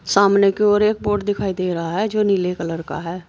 सामने की ओर एक बोर्ड दिखाई दे रहा है जो नीले कलर का है।